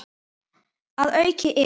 Að auki eru